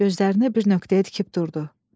Gözlərini bir nöqtəyə tikib durdu.